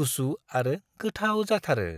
गुसु आरो गोथाव जाथारो।